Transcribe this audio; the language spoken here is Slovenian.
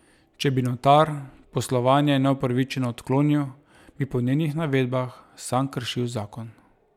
Če bi notar poslovanje neupravičeno odklonil, bi po njenih navedbah sam kršil zakon.